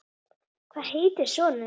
Hvað heitir sonur þinn?